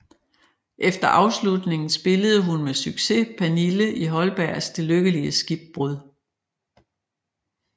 Efter afslutningen spillede hun med succes Pernille i Holbergs Det lykkelige skibbrud